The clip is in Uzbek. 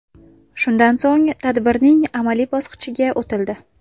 Shundan so‘ng tadbirning amaliy amaliy bosqichiga o‘tildi.